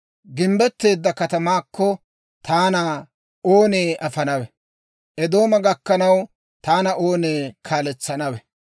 Gimbbetteedda katamaakko, taana oonee afanawe? Eedooma gakkanaw taana oonee kaaletsanawe?